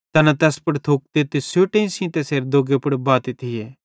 तैना तैस पुड़ थुकते ते सोटी सेइं तैसेरे दोग्गे पुड़ बाते थिये